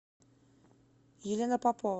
елена попова